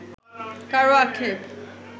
কারও আক্ষেপ